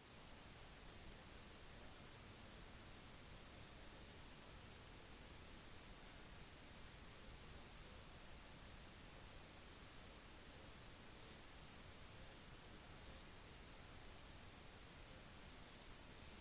da leietakerne begynte å dele det som hadde skjedd med dem innså de fleste av familiene at carolyn wilson av oha hadde stjålet sikkerhetsdeponiene sine og